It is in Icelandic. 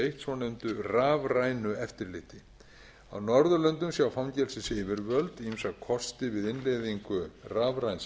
svonefndu rafrænu eftirliti á norðurlöndum sjá fangelsisyfirvöld ýmsa kosti við innleiðingu rafræns